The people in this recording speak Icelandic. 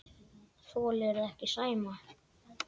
Þolirðu ekki Sæma?